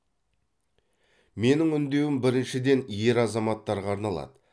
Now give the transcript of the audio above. менің үндеуім біріншіден ер азаматтарға арналады